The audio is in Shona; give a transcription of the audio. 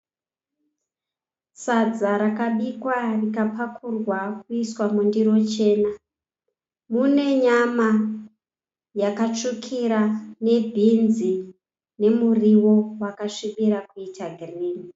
Sadza rakabikwa rikapakurwa kuiswa mundiro chena. Mune nyama yakatsvukira nebhinzi nemuriwo wakasvibira kuita girinhi.